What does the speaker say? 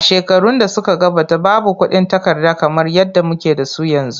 A shekarun da suka gabata, babu kuɗin takarda kamar yadda muke da su yanzu.